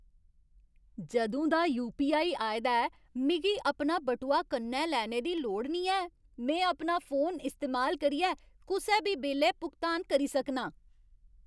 जदूं दा यू.पी.आई. आए दा ऐ, मिगी अपना बटुआ कन्नै लेने दी लोड़ नेईं ऐ। में अपना फोन इस्तेमाल करियै कुसै बी बेल्लै भुगतान करी सकनां।